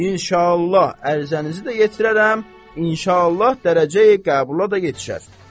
İnşallah ərizənizi də yetirərəm, inşallah dərəcəyi qəbula da yetişər.